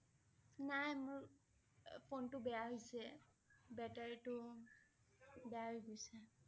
নাই মোৰ আহ ফোনটো বেয়া হৈছে battery টো বেয়া হৈ গৈছে